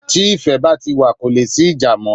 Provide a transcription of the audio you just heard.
Tí ìfẹ́ bá ti wa, ko leè sí ìjà mọ́